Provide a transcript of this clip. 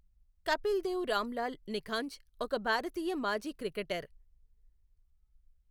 కపిల్ దేవ్ రాంలాల్ నిఖాంజ్ ఒక భారతీయ మాజీ క్రికెటర్.